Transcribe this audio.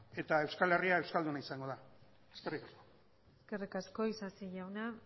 eta euskal herria euskalduna izango dana eskerrik asko eskerrik asko isasi jauna